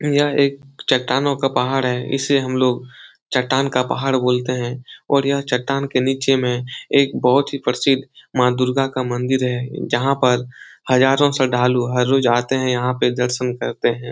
यह एक चट्टानों का पहाड़ है। इसे हम लोग चट्टान का पहाड़ बोलते हैं और यह चट्टानों के नीचे में एक बहोत ही प्रसिद्ध माँ दुर्गा का मन्दिर है। जहाँ पर हजारों श्रद्धालु हर रोज़ आते हैं। यहाँ पे दर्शन करते हैं।